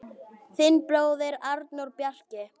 Þinn bróðir, Arnór Bjarki.